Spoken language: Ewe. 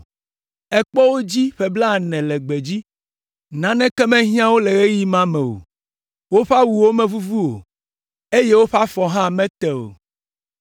Èkpɔ wo dzi ƒe blaene le gbedzi, naneke mehiã wo le ɣeyiɣi ma me o. Woƒe awuwo mevuvu o, eye woƒe afɔwo hã mete o!